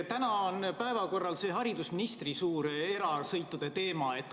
Täna on päevakorral haridusministri erasõitude teema.